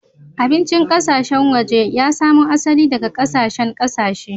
Abincin ƙasashen waje ya samo asali daga ƙasashen ƙasashe.